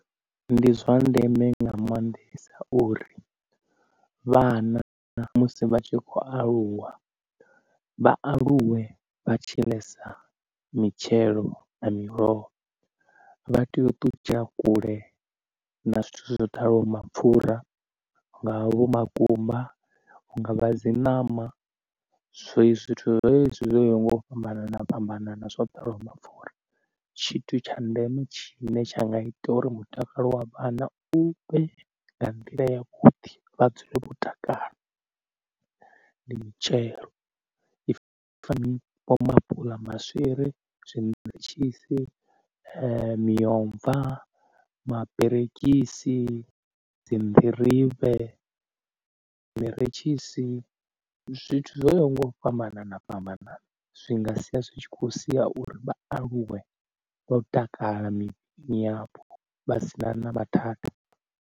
Ndi zwa ndeme nga maanḓesa uri vhana musi vha tshi khou aluwa vha aluwe vha tshi ḽesa mitshelo na miroho. Vha tea u ṱutshela kule na zwithu zwo ḓalaho mapfhura hu ngavha vho makumba, hunga vha dzi ṋama zwezwi zwithu zwezwi zwo yaho nga u fhambana fhambana zwo ḓalaho mapfhura. Tshithu tsha ndeme tshine tsha nga ita uri mutakalo wa vhanna u vhe nga nḓila ya vhuḓi vha dzule vho mutakalo ndi mitshelo if maapuḽa maswiri zwine ndanga tshi si miomva maberegisi, dzi nḓirivhe, zwineretshisi, zwithu zwo ngo fhambana na fhambana zwi nga sia zwi tshi khou sia uri vha aluwe vha u takala mipaini yapo vha sina na vha that